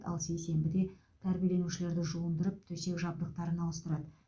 ал сейсенбіде тәрбиелерушілерді жуындырып төсек жабдықтарын ауыстырады